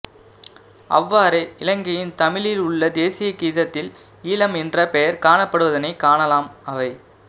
அவ்வாறே இலங்கையின் தமிழில் உள்ள தேசிய கீதத்தில் ஈழம் என்ற பெயர் காணப்படுவதனைக் காணலாம் அவை